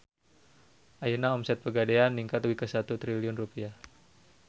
Ayeuna omset Pegadaian ningkat dugi ka 1 triliun rupiah